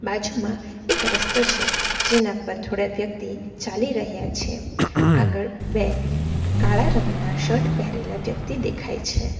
બાજુમાં એક રસ્તો છે જેના પર થોડાક વ્યક્તિ ચાલી રહ્યા છે આગળ બે કાળા રંગના શર્ટ પહેરેલા વ્યક્તિ દેખાય છે.